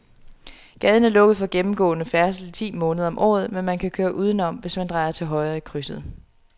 Gaden er lukket for gennemgående færdsel ti måneder om året, men man kan køre udenom, hvis man drejer til højre i krydset.